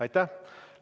Aitäh!